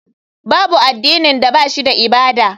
Babu addinin da ba shi da ibada.